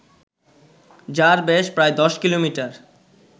যার ব্যাস প্রায় ১০ কিলোমিটার